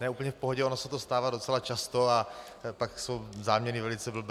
Ne, úplně v pohodě, ono se to stává docela často a pak jsou záměny velice blbé.